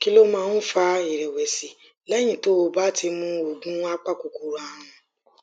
kí ló máa ń fa ìrèwèsì léyìn tó o bá ti mu oògùn apakòkòrò àrùn